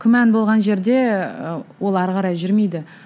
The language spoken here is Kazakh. күмән болған жерде ы ол ары қарай жүрмейді